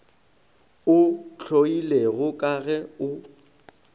o hloilego ka ge o